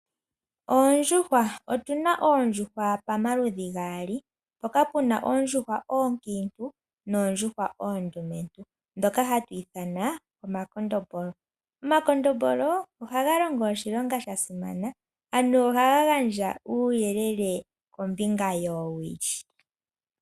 Oondjuhwa, otuna oondjuhwa pamaludhi gaali, mpoka tuna oondjuhwa oonkintu noondjuhwa oondumentu ndhoka hatu ithana omakondombolo. Omakondombolo ohaga longo oshilonga sha simana, ano ohaga gandja uuyelele kombinga yoowili.